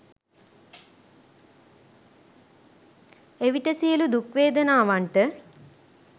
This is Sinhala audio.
එවිට සියලු දුක්වේදනාවන්ට